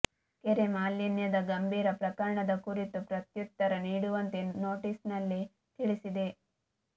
ಕೆರೆ ಮಾಲಿನ್ಯದ ಗಂಭೀರ ಪ್ರಕರಣದ ಕುರಿತು ಪ್ರತ್ಯುತ್ತರ ನೀಡುವಂತೆ ನೋಟಿಸ್ನಲ್ಲಿ ತಿಳಿಸಿದೆ